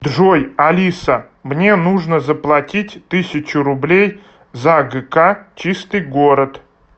джой алиса мне нужно заплатить тысячу рублей за гк чистый город